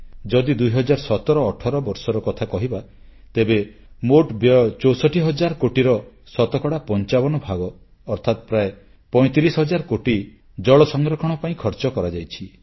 ଯଦି 201718 ବର୍ଷର କଥା କହିବା ତେବେ ମୋଟ ବ୍ୟୟ 64 ହଜାର କୋଟି ଟଙ୍କାର ଶତକଡ଼ା 55 ଭାଗ ଅର୍ଥାତ୍ ପ୍ରାୟ 35 ହଜାର କୋଟି ଟଙ୍କାର ଜଳ ସଂରକ୍ଷଣ ପାଇଁ ଖର୍ଚ୍ଚ କରାଯାଇଛି